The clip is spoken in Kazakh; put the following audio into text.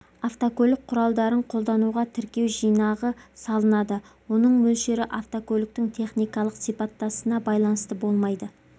автокөлік құралдарын қолдануға тіркеу жинағы салынады оның мөлшері автокөліктің техникалық сипаттасына байланысты болмайды